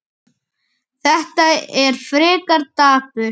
Þetta er frekar dapurt.